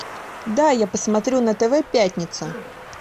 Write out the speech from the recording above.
дай я посмотрю на тв пятница